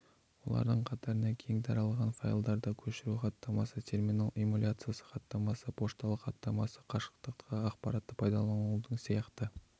олардың қатарына кең таралған файлдарды көшіру хаттамасы терминал эмуляциясы хаттамасы пошталық хаттамасы қашықтықтағы ақпаратты пайдаланудың сияқты